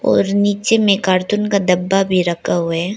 और नीचे में कार्टून का डब्बा भी रखा हुआ है।